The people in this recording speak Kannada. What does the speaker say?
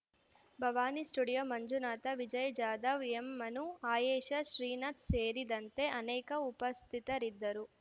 ಭವಾನಿ ಸ್ಟುಡಿಯೋ ಮಂಜುನಾಥ ವಿಜಯ್‌ ಜಾಧವ್‌ ಎಂಮನು ಆಯೇಷಾ ಶ್ರೀನಾಥ ಸೇರಿದಂತೆ ಅನೇಕ ಉಪಸ್ಥಿತರಿದ್ದರು